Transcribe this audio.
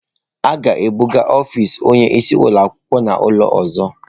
A ga-ebuga ọfisi onye isi ụlọ akwụkwọ n'ụlọ ọzọ.